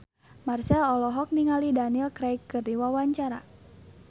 Marchell olohok ningali Daniel Craig keur diwawancara